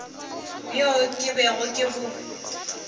bjo ke bego ke bo